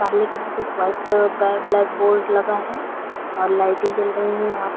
सामने की तरफ वाइट कलर ब्लैक बोर्ड लगा है और लाइटे जल रही है यहाँ--